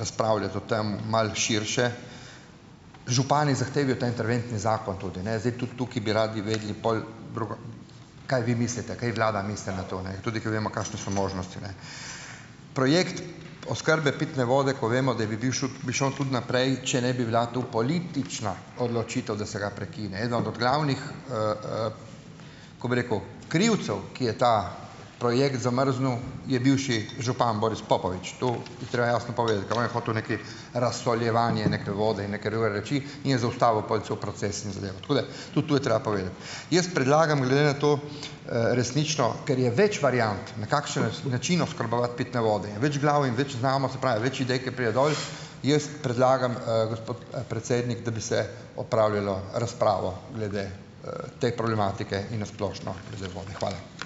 razpravljati o tem malo širše. Župani zahtevajo ta interventni zakon tudi, ne. Zdaj, tudi tukaj bi radi vedeli pol drugo kaj vi mislite, kaj vlada misli na to, ne. Tudi, ker vemo, kakšne so možnosti. Projekt oskrbe pitne vode, ko vemo, da bi bil bi šel tudi naprej, če ne bi bila tu politična odločitev, da se ga prekine. Eden od od glavnih, ko bi rekel krivcev, ki je ta projekt zamrznilo, je bivši župan Boris Popovič. To je treba jasno povedati, ker on je hotel nekaj razsoljevanje neke vode in neke druge reči in je zaustavil pol cel proces in zadevo. Tako da ta to je treba povedati. Jaz predlagam glede na to, resnično, ker je več variant, na kakšen način oskrbovati pitne vode. In več glav in več znamo, se pravi, več idej, ke pride dol. Jaz predlagam, gospod, predsednik, da bi se opravilo razpravo glede, te problematike in na splošno glede vode. Hvala.